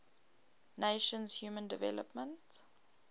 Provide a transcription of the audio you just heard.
nations human development